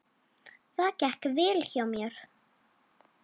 Það gekk vel hjá mér.